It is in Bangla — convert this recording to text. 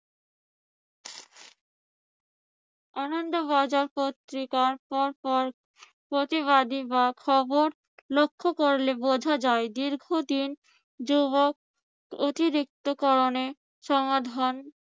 আনন্দ বাজার পত্রিকার পর পর প্রতিবাদী বা খবর লক্ষ্য করলে বুঝা যায় দীর্ঘদিন যুবক অতিরিক্তকরণে সমাধান